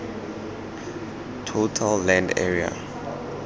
total land area